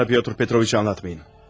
Bana Pietr Petroviç'i anlatmayın.